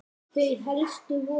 Þau helstu voru